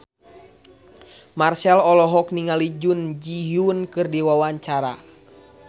Marchell olohok ningali Jun Ji Hyun keur diwawancara